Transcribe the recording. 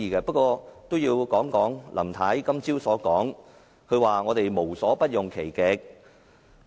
不過，我也要談談林太今早的說話，她說我們無所不用其極。